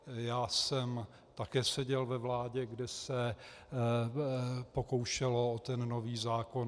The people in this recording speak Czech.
Já jsem také seděl ve vládě, kde se pokoušelo o ten nový zákon.